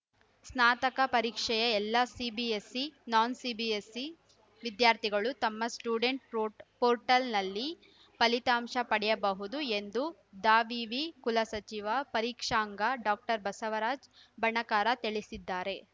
ಸ್ನಾತಕ ಪರೀಕ್ಷೆಯ ಎಲ್ಲಾ CBSE non CBSE ವಿದ್ಯಾರ್ಥಿಗಳು ತಮ್ಮ ಸ್ಟುಡೆಂಟ್‌ ಪ್ರೊಟೆಲ್‌ನಲ್ಲಿ ಫಲಿತಾಂಶ ಪಡೆಯಬಹುದು ಎಂದು ದಾವಿವಿ ಕುಲಸಚಿವಪರೀಕ್ಷಾಂಗ ಡಾಕ್ಟರ್ ಬಸವರಾಜ್ ಬಣಕಾರ ತಿಳಿಸಿದ್ದಾರೆ